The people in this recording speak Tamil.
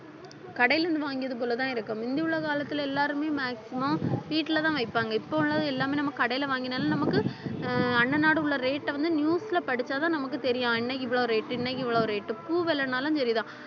கடையிலிருந்து வாங்கியது போலதான் இருக்கும் முந்தி உள்ள காலத்துல எல்லாருமே maximum வீட்டுலதான் வைப்பாங்க இப்ப உள்ளது எல்லாமே நம்ம கடையில வாங்கினாலும் நமக்கு ஆஹ் அன்னநாடு உள்ள rate அ வந்து news ல படிச்சாதான் நமக்கு தெரியும் இன்னைக்கு இவ்வளவு rate இன்னைக்கு இவ்வளவு rate பூ விலைனாலும் சரிதான்